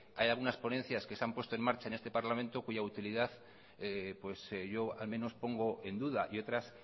hay algunas ponencias que se han puesto en marcha en este parlamento cuya utilidad pues yo al menos pongo en duda y otras